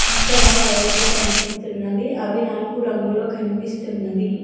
అక్కడ వైర్లు కనిపిస్తున్నావి అవి నలుపు రంగులో కనిపిస్తున్నావి.